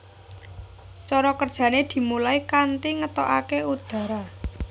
Cara kerjane dimulai kanthi ngetokake udara